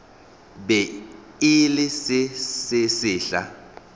be e le se sesehla